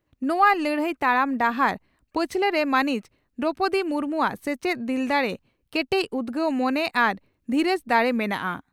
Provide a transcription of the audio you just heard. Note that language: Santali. ᱱᱚᱣᱟ ᱞᱟᱹᱲᱦᱟᱹᱭ ᱛᱟᱲᱟᱢ ᱰᱟᱦᱟᱨ ᱯᱟᱪᱷᱞᱟᱨᱮ ᱢᱟᱹᱱᱤᱡ ᱫᱨᱚᱣᱯᱚᱫᱤ ᱢᱩᱨᱢᱩᱣᱟᱜ ᱥᱮᱪᱮᱫ, ᱫᱤᱞ ᱫᱟᱲᱮ, ᱠᱮᱴᱮᱡᱽ ᱩᱫᱽᱜᱟᱹᱣ ᱢᱚᱱᱮ ᱟᱨ ᱫᱷᱤᱨᱟᱹᱡᱽ ᱫᱟᱲᱮ ᱢᱮᱱᱟᱜᱼᱟ ᱾